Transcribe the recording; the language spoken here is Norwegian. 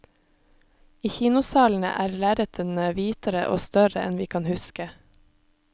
I kinosalene er lerretene hvitere og større enn vi kan huske.